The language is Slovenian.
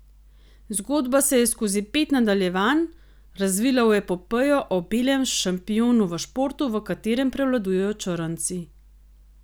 Zgodba se je skozi pet nadaljevanj razvila v epopejo o belem šampionu v športu, v katerem prevladujejo črnci.